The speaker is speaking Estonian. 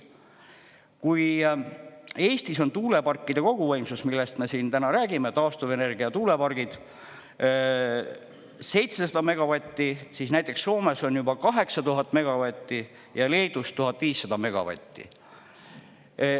Kui Eestis on tuuleparkide koguvõimsus – millest me siin täna räägime, taastuvenergia tuulepargid – 700 megavatti, siis näiteks Soomes on juba 8000 megavatti ja Leedus 1500 megavatti.